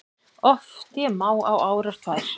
Oft ég má á árar tvær